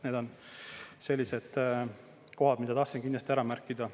Need on sellised kohad, mida tahtsin kindlasti ära märkida.